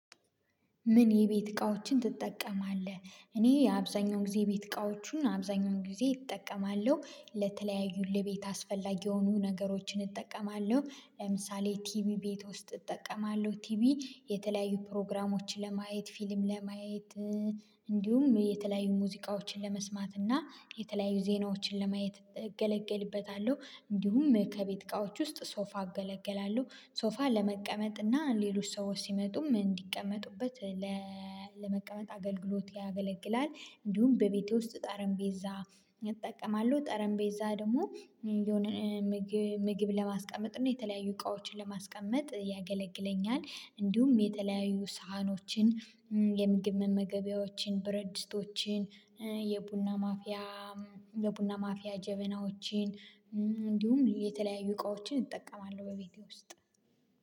ምን የቤት እቃዎችን ትጠቀማለህ? እኔ የአብዛኛው ጊዜ የቤት እቃዎቹን አብዛኛውን ጊዜ እጠቀማለሁ ለተለያዩ ለቤት አስፈላጊ የሆኑ ነገሮችን እጠቀማለሁ ለምሳሌ ቲቪ ቤት ውስጥ እጠቀማለሁ ቲቪ የተለያዩ ፕሮግራሞችን ለማየት ፊልም ለማየት። እንዲሁም የተለያዩ ሙዚቃዎችን ለመስማት እና የተለያዩ ዜናዎችን ለማየት እገለገልበታለሁ። እንዲሁም ከቤት እቃዎች ውስጥ ሶፋ እገለገላለሁ ሶፋ ለመቀመጥ እና ሌሎች ሰዎች ሲመጡም እንዲቀመጡበት ለመቀመጥ አገልግሎት ያገለግላል። እንዲሁም በቤቴ ውስጥ ጠረጴዛ እጠቀማለሁ ጠረጴዛ ደግሞ የሆነ ምግብ ለማስቀመጥ እና የተለያዩ እቃዎችን ለማስቀመጥ ያገለግለኛል። እንዲሁም የተለያዩ ሳህኖችን የምግብ መመገበያዎችን ብረድስቶችን የቡና ማፊያ የቡና ማፊያ ጀበናዎችን እንዲሁም የተለያዩ እቃዎችን እጠቀማለሁ። በቤቴ ውስጥ